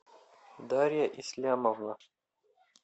дарья ислямовна